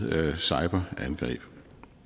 cyberangreb